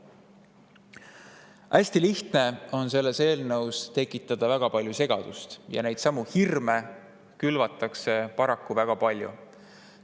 Hästi lihtne on selle eelnõuga seoses tekitada väga palju segadust ja neidsamu hirme külvatakse paraku väga palju.